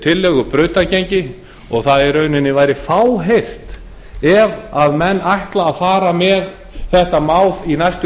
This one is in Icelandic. tillögu brautargengi og það væri fáheyrt ef menn ætla að fara með þetta mál í næstu